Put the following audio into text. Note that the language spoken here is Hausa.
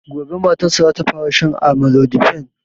Gobe matan sa zata fara shan amlodipine